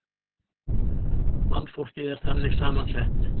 Mannfólkið er þannig saman sett.